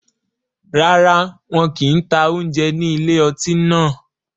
Rárá, wọn kì ń ta oúnjẹ ní ilé ọtí náà